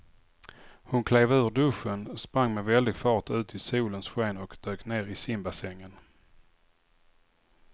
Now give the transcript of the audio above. Hon klev ur duschen, sprang med väldig fart ut i solens sken och dök ner i simbassängen.